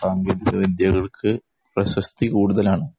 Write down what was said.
സാങ്കേതിക വിദ്യകള്‍ക്ക് പ്രശസ്തി കൂടുതലാണ്.